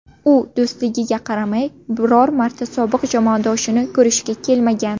U do‘stligiga qaramay, biror marta sobiq jamoadoshini ko‘rishga kelmagan.